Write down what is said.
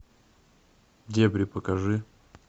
дебри покажи